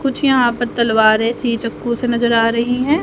कुछ यहां पर तलवारें सी चक्कू स नजर आ रही हैं।